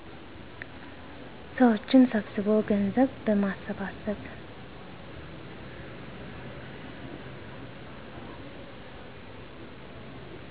ሰዎችን ሰብስቦ ገንዘብ በማሰባሰብ